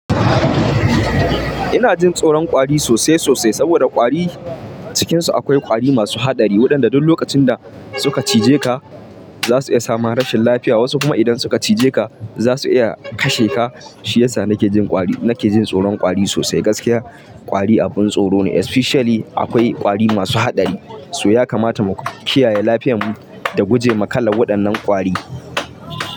Ina jin tsoron ƙwari sosai sosai saboda ƙwari cikinsu akwai ƙwari masu haɗari waɗanda duk lokacin da suka cije ka za su iya sa ma rashin lafiya. Wasu kuma idan suka cije ka za su iya kashe ka. Shi yasa nake jin ƙwari, nake jin tsoron ƙwari sosai gaskiya. Ƙwari abin tsoro ne especially akwai ƙwari masu haɗari. So yakamata mu kiyaye lafiyar mu da gujema kalar waɗannan ƙwari.